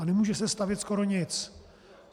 A nemůže se stavět skoro nic.